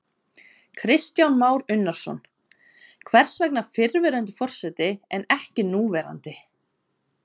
Kristján Már Unnarsson: Hvers vegna fyrrverandi forseti en ekki núverandi?